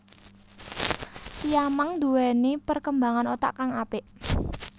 Siamang nduwéni perkembangan otak kang apik